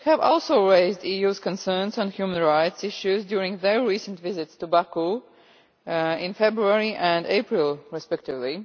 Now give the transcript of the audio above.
also raised the EU's concerns on human rights issues during their recent visits to Baku in February and April respectively.